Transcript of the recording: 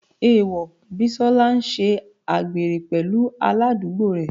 Èèwọ̀, Bísọ́lá ń ṣe àgbèrè pẹ̀lú aládùúgbò rẹ̀.